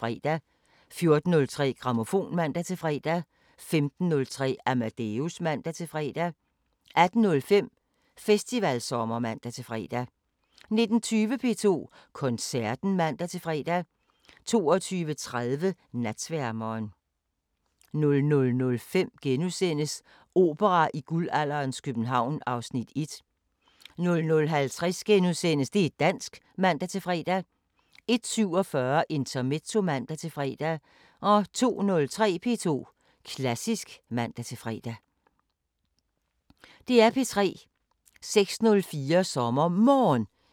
05:05: Flaskens Ånd (G) 06:05: 55 Minutter – sammendrag 07:05: 24syv Morgen (man-fre) 08:05: 24syv Morgen, fortsat (man-fre) 09:05: Millionærklubben (man-fre) 10:05: Stenos Apotek (man-fre) 11:05: Meet The Selsings (man-fre) 12:05: Comedyklubben Smiling Table (man-fre) 13:05: Hitlers Æselører 14:05: Mit Livs Sexferie (G)